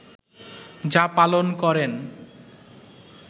যা পালন করেন